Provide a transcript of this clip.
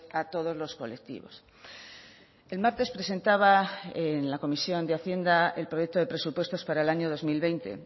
a todos los colectivos el martes presentaba en la comisión de hacienda el proyecto de presupuestos para el año dos mil veinte